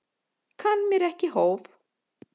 Kann mér ekki hóf.